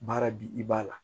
Baara bi i b'a la